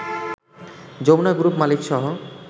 Jamuna group মালিকসহ